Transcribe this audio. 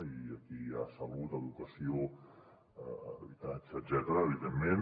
i aquí hi ha salut educació habitatge etcètera evidentment